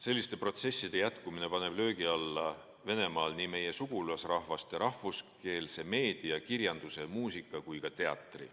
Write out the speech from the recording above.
Selliste protsesside jätkumine paneb Venemaal löögi alla nii meie sugulasrahvaste rahvuskeelse meedia, kirjanduse, muusika kui ka teatri.